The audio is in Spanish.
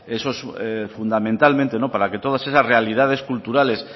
fundamentalmente para que todas esas realidades culturales